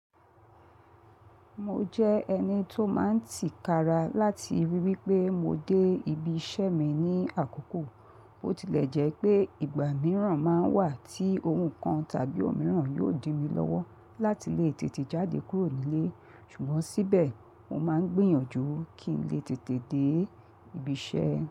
Mo jẹ́ ẹni tó máa ń tìkára láti ríi wí pé mo dé ibi iṣẹ́ mi ní àkókò. Ó tilẹ̀ jẹ́ pé ìgbà mìíràn máa ń wà tí ohun kan tàbí òmíràn yóò di mí lọ́wọ́ láti lè tètè jáde kúrò nílé. Ṣùgbọ́n síbẹ̀ mo máa ń gbìyànjú kin lè tètè dé ibiṣẹ́.